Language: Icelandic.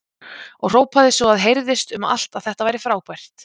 Og hrópaði svo að heyrðist um allt að þetta væri frábært!